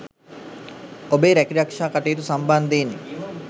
ඔබේ රැකී රක්ෂා කටයුතු සම්බන්ධයෙන්